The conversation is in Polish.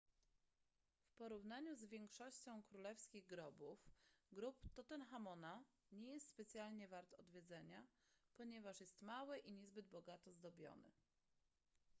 w porównaniu z większością królewskich grobów grób tutenchamona nie jest specjalnie wart odwiedzenia ponieważ jest mały i niezbyt bogato zdobiony